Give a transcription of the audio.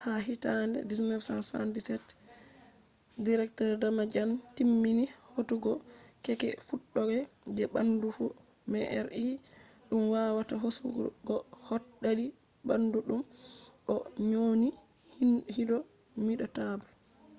ha hitande 1977 dr. damadian timmini hautugo keeke fuddode je bandu fu” mri dum wawata hosugo hot dadi bandu dum o nyoni indomitable